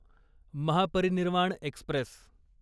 Mahaparinirvan Express